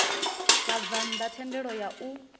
vhabvann ḓa thendelo ya u